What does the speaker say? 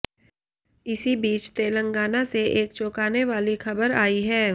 इसी बीच तेलगांना से एक चौंकाने वाली खबर आई है